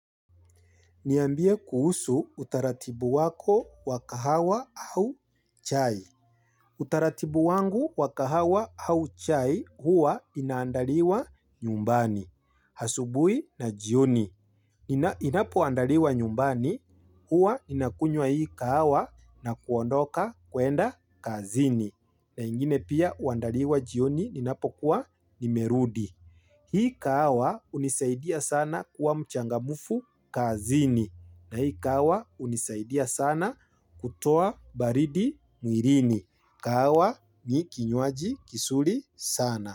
Niambie kuhusu utaratibu wako wa kahawa au chai. Utaratibu wangu wa kahawa au chai huwa inaandaliwa nyumbani. Hasubui na jioni. Inapo andaliwa nyumbani huwa ninakunywa hii kahawa na kuondoka kuenda kazini. Na ingine pia huandaliwa jioni ninapokuwa nimerudi. Hii kahawa hunisaidia sana kuwa mchangamfu kazini. Na hii kahawa hunisaidia sana kutoa baridi mwilini. Kahawa ni kinywaji kizuri sana.